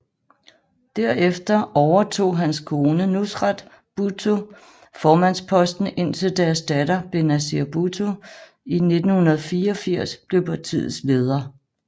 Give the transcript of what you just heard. Derefter overtog hans kone Nusrat Bhutto formandsposten indtil deres datter Benazir Bhutto i 1984 blev partiets leder